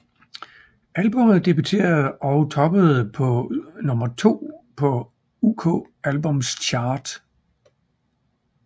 Albummet debuterede og toppede på nummer to på UK Albums Chart